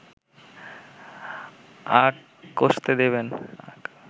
আঁক কষতে দেবেন